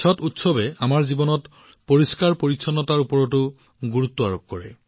ছট উৎসৱে আমাৰ জীৱনত পৰিষ্কাৰপৰিচ্ছন্নতাৰ ওপৰতো গুৰুত্ব আৰোপ কৰে